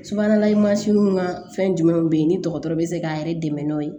Subahana mansinw ka fɛn jumɛnw bɛ yen ni dɔgɔtɔrɔ bɛ se k'an yɛrɛ dɛmɛ n'o ye